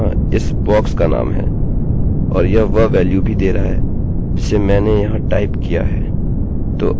तो अब मैं php में जो करना चाहता हूँ वह है इस वेल्यू को एको करना